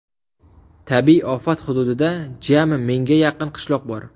Tabiiy ofat hududida jami mingga yaqin qishloq bor.